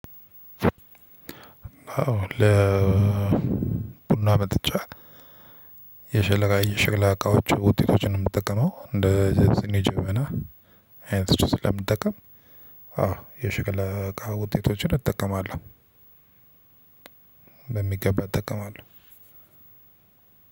ቡና መጠጫ የሸልካ የሸክላ እቃዎች ውጤቶችን ነው የምንጠቀመው እንደ የነ ስኒ ጀበና አይነቶችን ስለምንጠቀም አዎ የሽክላ እቃ ውጤቶችን እጠቀማለሁ። በሚገባ እጠቀማለሁ።